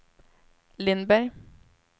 Lindberg